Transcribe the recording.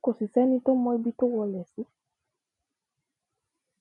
kò sì sẹni tó mọ ibi tó wọlé sí